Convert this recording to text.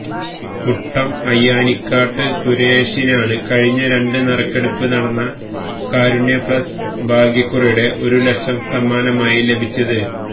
മുട്ടം അയ്യാനിക്കാട്ട് സുരേഷിനാണ് കഴിഞ്ഞ രണ്ടിന് നറുക്കെടുപ്പ് നടന്ന കാരുണ്യ പ്ലസ് ഭാഗ്യക്കുറിയുടെ ഒരു ലക്ഷം സമ്മാനമായി ലഭിച്ചത്